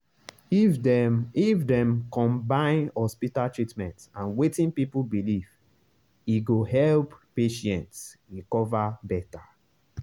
if dem if dem combine hospital treatment and wetin people believe e go help patients recover better.